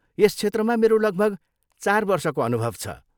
यस क्षेत्रमा मेरो लगभग चार वर्षको अनुभव छ।